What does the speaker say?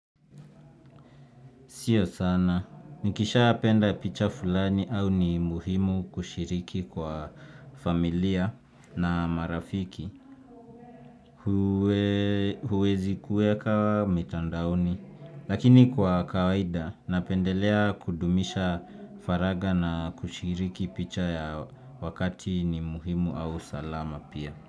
Sio sana. Nikishapenda picha fulani au ni muhimu kushiriki kwa familia na marafiki. Huwezi kuweka mtandaoni. Lakini kwa kawaida, napendelea kudumisha faragha na kushiriki picha ya wakati ni muhimu au salama pia.